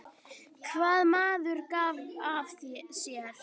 Hvað maður gaf af sér.